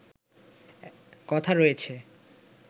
কথা রয়েছে